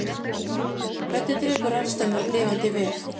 hvernig drepur rafstraumur lifandi vef